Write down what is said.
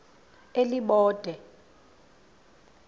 elibode